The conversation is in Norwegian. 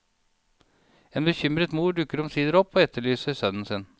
En bekymret mor dukker omsider opp og etterlyser sønnen sin.